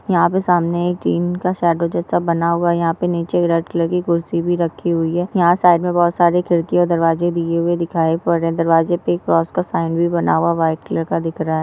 यहाँ पे सामने जिम का शाडो जैसा बना हुआ है। यहा पे नीचे रेड कलर की खुर्ची भी रखी हुई है। यहा साइड मे बहुत सारे खिड़किया और दरवाजे दिये हुए दिखाए और ए दरवाजे पे क्रॉस का भी बना हुआ व्हाइट कलर का दिख रहा है।